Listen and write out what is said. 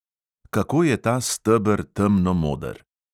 Kako je ta steber temnomoder!